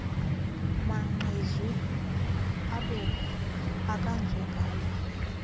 maqhezu abomvu akajongelwa